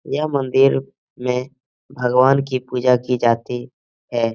यह मंदिर में भगवान की पूजा की जाती है।